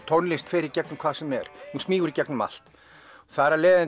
tónlist fer í gegnum hvað sem er smýgur í gegnum allt þar af leiðandi